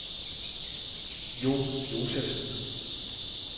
Jon Josefsen